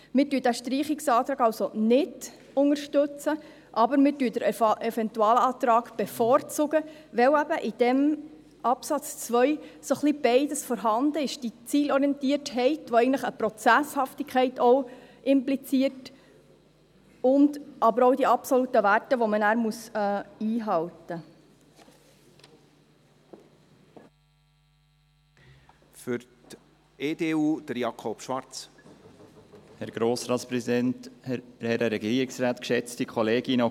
Wir unterstützen diesen Streichungsantrag also nicht, aber wir bevorzugen den Eventualantrag, weil in diesem Absatz 2 eben ein wenig beides vorhanden ist, die Zielorientiertheit, die eigentlich auch eine Prozesshaftigkeit impliziert, aber auch die absoluten Werte, die man nachher einhalten muss.